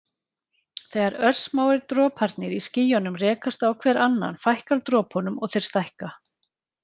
Þegar örsmáir droparnir í skýjunum rekast á hver annan fækkar dropunum og þeir stækka.